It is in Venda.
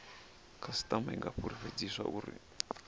khasitama i nga fulufhedziswa uri